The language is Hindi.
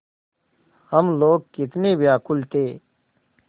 हम लोग कितने व्याकुल थे